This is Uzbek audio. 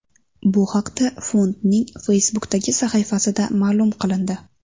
Bu haqda fondning Facebook’dagi sahifasida ma’lum qilindi .